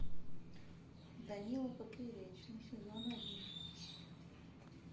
данила поперечный сезон один